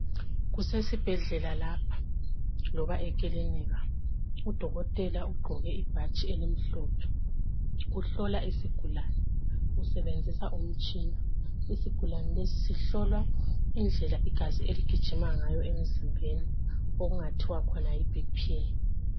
Kusesibhedlela lapha loba ekilinika. Udokotela ugqoke ibhatshi elimhlophe, uhlola isigulane. Usebenzisa umtshina. Isigulane lesi sihlolwa indlela igazi eligijima ngayo emzimbeni okungathiwa khona yiBP.